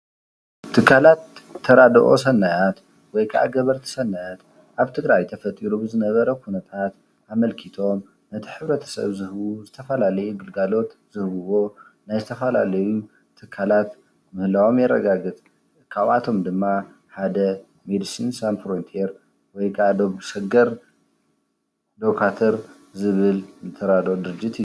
ትካላት ተራድኦ ሰናያት ወይ ካዓ ገበርቲ ሰናያት ኣብ ትግራይ ኣብ ትግራይ ተፈጢሩ ብዝነበረ ኩነታት ኣመልኪቶም ነቲ ሕብረተሰብ ዝህቡ ዝተፈላለየ ግልጋሎት ዝህቡዎ ናይ ዝተፈላለዩ ትካላት ምህላዎም የረጋግፅ። ካብኣቶም ድማ ሓደ መዲሲን ሳንስ ፍሮንተር ወይ ካኣ ዶብ ሸገር ዶጋትር ዝብለል ተራድኦ ድርጀት እዩ።